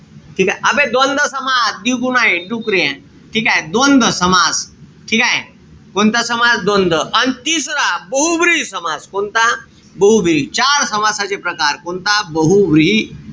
ठीकेय? आबे द्वंद्व समास. दिगू नाई. डुकऱ्या. ठीकेय? द्वंद्व समास. ठीकेय? कोणता समास? द्वंद्व. अन तिसरा, बहुब्रुवी समास. कोणता? बहुब्रुवी. चार समासाचे प्रकार. कोणता? बहुव्रीही.